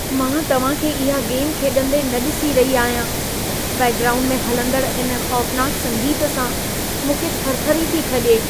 मां तव्हां खे इहा गेम खेॾंदे न ॾिसी रही आहियां। बैकग्राऊंड में हलंदड़ इन खौफ़नाक संगीत सां मूंखे थरथरी थी खॼे।